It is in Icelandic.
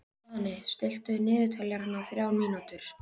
Svani, stilltu niðurteljara á þrjár mínútur.